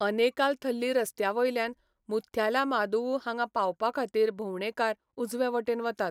अनेकाल थल्ली रस्त्यावयल्यान मुथ्यालामादुवू हांगा पावपाखातीर भोंवडेकार उजवे वटेन वतात.